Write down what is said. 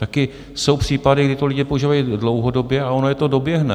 Taky jsou případy, kdy to lidi používají dlouhodobě, a ono je to doběhne.